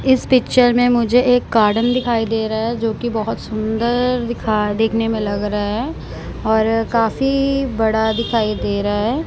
इस पिक्चर में मुझे एक गार्डन दिखाई दे रहा है जो की बहोत सुंदर दिखा देखने में लग रहा है और काफी बड़ा दिखाई दे रहा है।